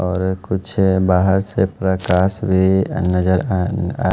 और कुछ बाहर से प्रकाश भी नजर आ न आ --